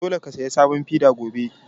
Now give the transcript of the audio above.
Dole ka saya sabon feda gobe!